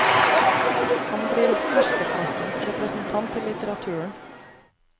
Han blir herskerklassens representant i litteraturen.